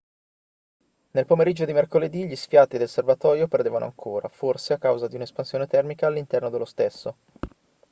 nel pomeriggio di mercoledì gli sfiati del serbatoio perdevano ancora forse a causa di un'espansione termica all'interno dello stesso